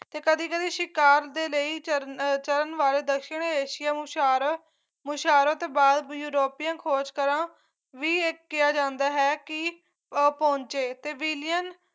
ਤੇ ਕਦੀ ਕਦੀ ਸ਼ਿਕਾਰ ਦੇ ਲਈ ਚਰਨ ਚਰਨ ਵਾਲੇ ਦੱਖਣ ਏਸ਼ੀਆ ਨੂੰ ਮੁਸ਼ਾਰਾ ਮੁਸ਼ਾਰਾ ਤੋਂ ਬਾਅਦ ਯੂਰੋਪੀਅਨ ਖੋਜਕਰਾਂ ਵੀ ਇਹ ਕਿਹਾ ਜਾਂਦਾ ਹੈ ਕੀ ਅਹ ਪਹੁੰਚੇ ਤੇ ਵਿਲੀਅਮ